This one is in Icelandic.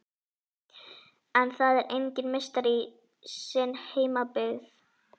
En það er enginn meistari í sinni heimabyggð.